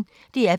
DR P1